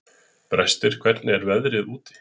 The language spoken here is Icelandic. Brestir, hvernig er veðrið úti?